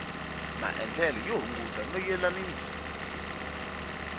maendlele yo hunguta no yelanisa